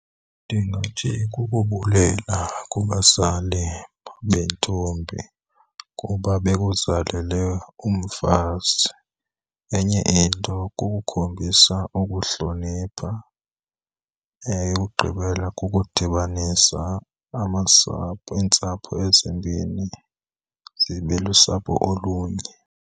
Ndingathi kukubulela kubazali bentombi kuba bekuzalele umfazi. Enye into, kukukhombisa ukuhlonipha. Eyokugqibela, kukudibanisa amasapho, iintsapho ezimbini zibe lusapho olunye.